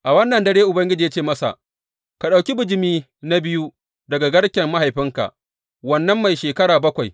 A wannan dare Ubangiji ya ce masa, Ka ɗauki bijimi na biyu daga garken mahaifinka, wannan mai shekara bakwai.